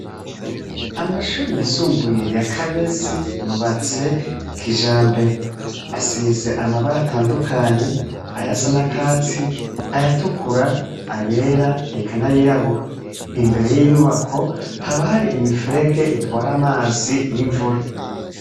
Amashure yisumbuye ya Kabezi, yubatse kijambere. Asize amabara atandukanye, ayasa n'akatsi, ayatukura, ayera, eka n'ayirabura. Imbere y'inyubako, haba hari imifurege itwara amazi y'imvura.